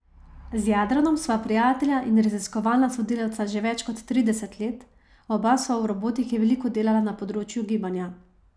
Z Jadranom sva prijatelja in raziskovalna sodelavca že več kot trideset let, oba sva v robotiki veliko delala na področju gibanja.